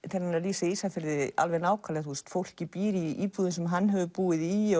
þegar hann er að lýsa Ísafirði alveg nákvæmlega fólkið býr í íbúðum sem hann hefur búið í